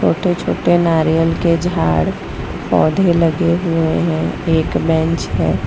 छोटे छोटे नारियल के झाड़ पौधे लगे हुए हैं एक बेंच है।